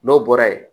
N'o bɔra ye